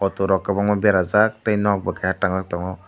autorok kwbangma berajak tei nok bo kaisa tangjak tongo.